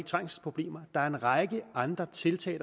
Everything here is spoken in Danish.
trængselsproblemer der skal en række andre tiltag